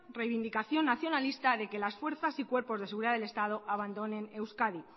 reivindicación nacionalista de que las fuerzas y cuerpos de seguridad del estado abandonen euskadi